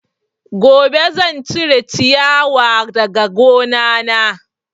Gobe zan cire ciyawa daga gona na